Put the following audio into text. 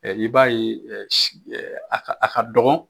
I b'a ye a ka dɔgɔn